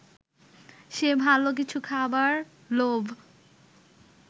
সে ভালো কিছু খাবার লোভ